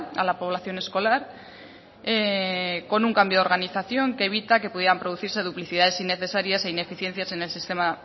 a la población escolar con un cambio de organización que evita que pudieran producirse duplicidades innecesarias e ineficiencias en el sistema